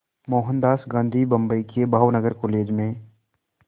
मोहनदास गांधी बम्बई के भावनगर कॉलेज में